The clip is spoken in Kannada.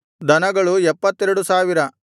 ದನಗಳು 72000